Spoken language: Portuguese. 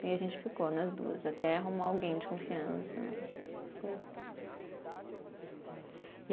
E a gente ficou nas duas, até arrumar alguém de confiança, essas coisas.